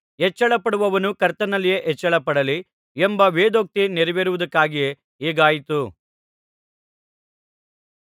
ಹೆಚ್ಚಳಪಡುವವನು ಕರ್ತನಲ್ಲಿಯೇ ಹೆಚ್ಚಳಪಡಲಿ ಎಂಬ ವೇದೋಕ್ತಿ ನೆರವೇರುವುದಕ್ಕಾಗಿಯೇ ಹೀಗಾಯಿತು